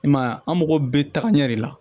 I m'a ye an mago bɛ taga ɲɛ de la